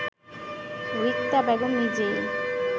রিক্তা বেগম নিজেই